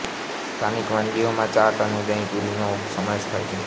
સ્થાનિક વાનગીઓમાં ચાટ અને દહીંપૂરી નો સમાવેશ થાય છે